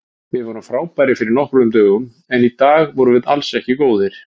Við vorum frábærir fyrir nokkrum dögum en í dag vorum við alls ekki góðir.